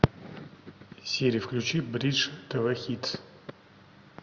сири включи бридж тв хит